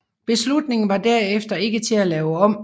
Beslutningen var derefter ikke til at lave om